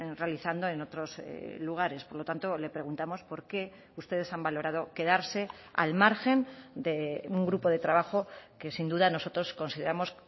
realizando en otros lugares por lo tanto le preguntamos por qué ustedes han valorado quedarse al margen de un grupo de trabajo que sin duda nosotros consideramos